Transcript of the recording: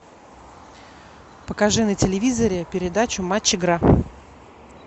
покажи на телевизоре передачу матч игра